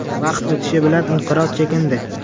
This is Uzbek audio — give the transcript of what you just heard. Vaqt o‘tishi bilan inqiroz chekindi.